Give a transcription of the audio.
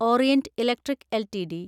orient Electric LTD